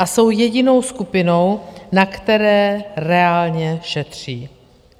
A jsou jedinou skupinou, na které reálně šetří.